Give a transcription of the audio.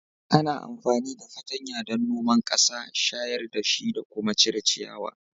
Ana amfani da fatanya don noman ƙasa, shayar da shi da kuma cire ciyawa